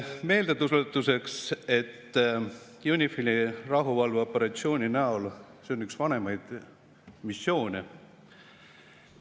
Meeldetuletuseks, UNIFIL-i rahuvalveoperatsioon on üks vanimaid missioone.